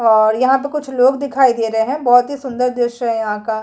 और यहां तो कुछ लोग दिखाई दे रहे हैं बहुत ही सुंदर दृश्य है यहाँ का --